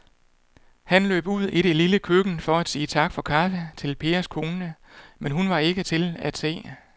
Han løb ud i det lille køkken for at sige tak for kaffe til Pers kone, men hun var ikke til at se.